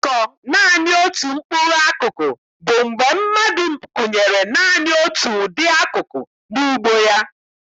Ịkọ naanị otu mkpụrụ akụkụ bụ mgbe mmadụ kụnyere naanị otu ụdị akụkụ n'ugbo ya.